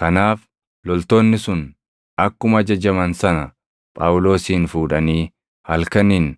Kanaaf loltoonni sun akkuma ajajaman sana Phaawulosin fuudhanii halkaniin